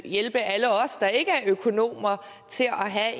hjælpe alle os der ikke er økonomer til at have